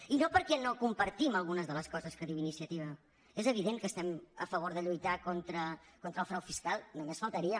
i no perquè no compartim algunes de les coses que diu iniciativa és evident que estem a favor de lluitar contra el frau fiscal només faltaria